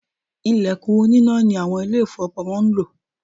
Ìlẹ̀kùn oníná ni àwọn Ilé-ìfowópamọ́ ń lò